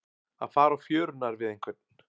Að fara á fjörurnar við einhvern